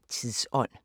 00:05: Tidsånd *